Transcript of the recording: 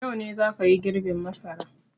Yau ne za ka yi girbin masara!